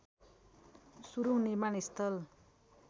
सुरूङ निर्माण स्थल